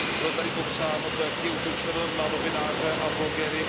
Bylo tady popsáno to, jak je útočeno na novináře a blogery.